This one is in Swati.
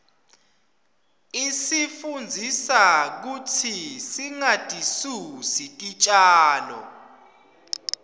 isifundzisa kutsi singatisusi titjalo